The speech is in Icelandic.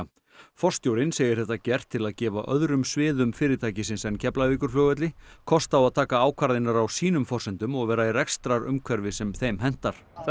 forstjórinn segir þetta gert til að gefa öðrum sviðum fyrirtækins en Keflavíkurflugvelli kost á að taka ákvarðanir á sínum forsendum og vera í rekstrarumhverfi sem þeim hentar það